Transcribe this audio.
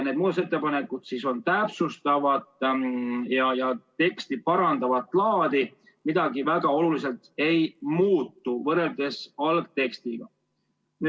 Need muudatusettepanekud on täpsustavat ja teksti parandavat laadi, midagi väga oluliselt võrreldes algtekstiga ei muutu.